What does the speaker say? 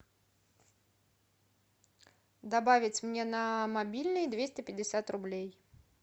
добавить мне на мобильный двести пятьдесят рублей